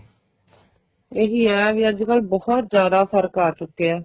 ਇਹੀ ਏ ਵੀ ਅੱਜਕਲ ਬਹੁਤ ਜਿਆਦਾ ਫ਼ਰਕ ਆ ਚੁੱਕਿਆ